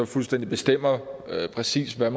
fuldstændig bestemmer præcis hvad